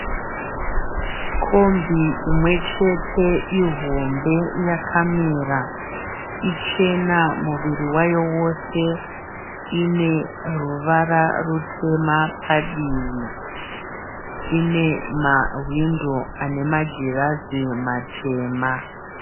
Kombi imwechete ihombe yakamira. Ichena muviri yayowose ine ruvara rutema padivi. Ine mahwindo ane magirazi matema.